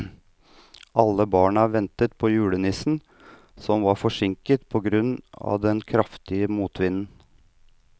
Alle barna ventet på julenissen, som var forsinket på grunn av den kraftige motvinden.